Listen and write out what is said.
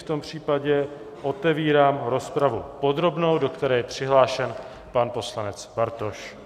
V tom případě otevírám rozpravu podrobnou, do které je přihlášen pan poslanec Bartoš.